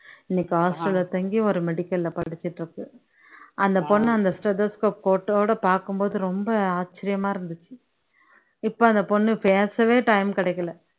இன்னைக்கு hostel ல தங்கி ஒரு medical ல படிச்சுட்டு இருக்கு அந்த பொண்ணு அந்த stethoscope coat ஓட பாக்கும் போது ரொம்ப ஆச்சர்யமா இருந்துச்சு இப்போ அந்த பொண்ணு பேசவே time கிடைக்கல